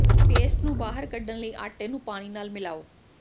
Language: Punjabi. ਪੇਸਟ ਨੂੰ ਬਾਹਰ ਕੱਢਣ ਲਈ ਆਟੇ ਨੂੰ ਪਾਣੀ ਨਾਲ ਮਿਲਾਓ